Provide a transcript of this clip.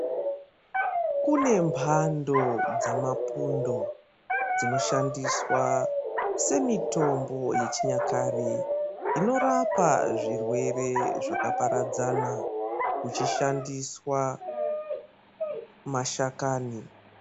Kune mbando dzamapundo dzinoshandiswa semitombo yechinyakare inorapa zvirwere zvakaparadzana ichishandiswa mashakani.